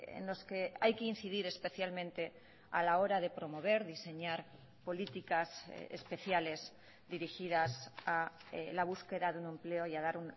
en los que hay que incidir especialmente a la hora de promover diseñar políticas especiales dirigidas a la búsqueda de un empleo y a dar